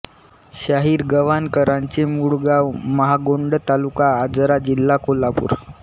शाहीर गव्हाणकरांचे मूळ गांव महागोंड तालुका आजरा जिल्हा कोल्हापूर